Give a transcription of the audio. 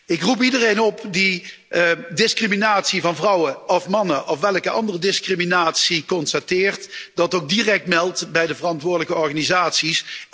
Ik roep iedereen op die discriminatie van vrouwen of mannen of welke andere discriminatie ook constateert, die ook direct te melden bij de verantwoordelijke organisaties.